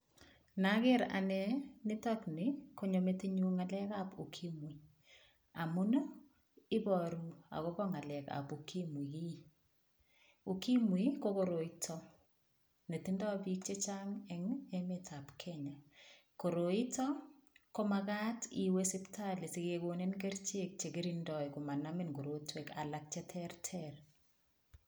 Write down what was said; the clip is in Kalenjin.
Naker ane nitokni konyo metinyu ng'alekab ukimwi amun iboru akobo ng'alekab ukimwi ukimwi ko koroito netindoi biik chechang' eng' emetab Kenya koroito komakat iwe sipitali sikekonin kerchek chekitindoi komanamin korotwek alak cheterter